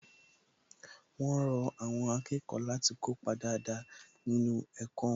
Wón rọ àwọn akẹ́kọ̀ọ́ láti kópa dáadáa nínú ẹ̀kọ́ wọn